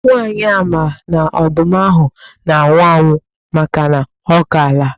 Nwaanyị a ma na ọdụm ahụ na-anwụ anwụ makana ọ kaala.